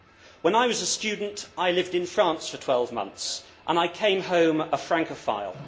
When I was a student, I lived in France for 12 months and I came home a Francophile.